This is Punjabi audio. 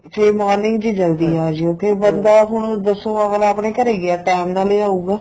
ਸਵੇਰੇ morning ਚ ਜਲਦੀ ਆਜਿਉ ਤੇ ਬੰਦਾ ਹੁਣ ਦੱਸੋ ਅੱਗਲਾ ਆਪਣੇ ਘਰੇ ਗਿਆ time ਨਾਲ ਈ ਆਉਗਾ